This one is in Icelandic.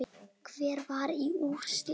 Hverjir fara í úrslit?